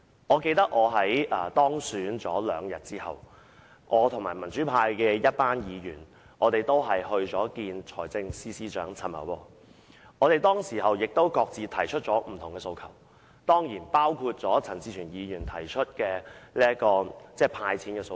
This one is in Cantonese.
我記得，我在當選兩天後與一群民主派議員會見財政司司長陳茂波，當時我們各自提出不同的訴求，包括陳志全議員提出的"派錢"訴求。